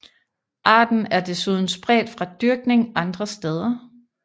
Arten er desuden spredt fra dyrkning andre steder